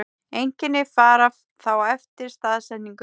Einkenni fara þá eftir staðsetningu.